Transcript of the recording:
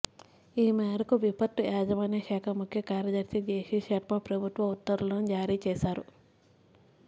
ఈ మేరకు విపత్తు యాజమాన్య శాఖ ముఖ్యకార్యదర్శి జె సి శర్మ ప్రభుత్వ ఉత్తర్వులను జారీ చేశారు